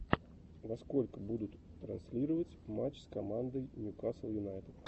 во сколько будут транслировать матч с командой ньюкасл юнайтед